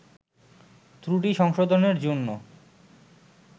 ত্রুটি সংশোধনের জন্য